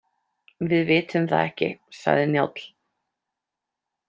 Við vitum það ekki, sagði Njáll.